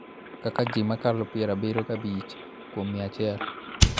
Kaka ji mokalo piero abiro gi abich kuom mia achiel